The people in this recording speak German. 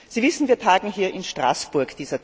Sie wissen, wir tagen hier in Straßburg.